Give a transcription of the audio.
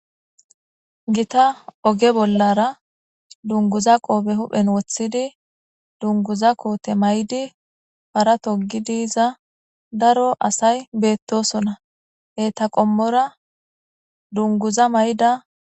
Gita oge bollara dunguza qoobe huphen wothidi dunguza koote may'di para toggi diiza daro asay beettosona he taqommora dunguza may'da.